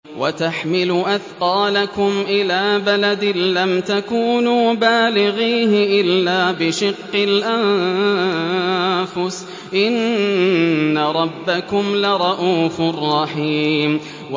وَتَحْمِلُ أَثْقَالَكُمْ إِلَىٰ بَلَدٍ لَّمْ تَكُونُوا بَالِغِيهِ إِلَّا بِشِقِّ الْأَنفُسِ ۚ إِنَّ رَبَّكُمْ لَرَءُوفٌ رَّحِيمٌ